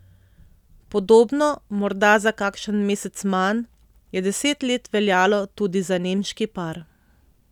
Podobno, morda za kakšen mesec manj, je deset let veljalo tudi za nemški par.